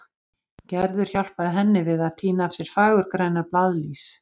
Gerður hjálpaði henni við að tína af sér fagurgrænar blaðlýs.